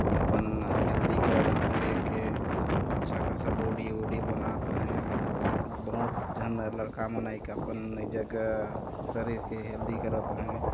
अपन हेल्दी कारण शरीर के अच्छा खासा बॉडी वोडी बनात है और बहुत झन लड़का मन एका अपन जगह शरीर के हेल्दी करत है।